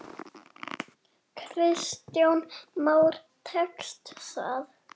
Kristján Már: Tekst það?